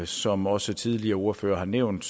som også tidligere ordførere har nævnt